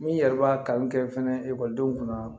N'i yɛrɛ b'a kanu kɛ fana ekɔlidenw kunna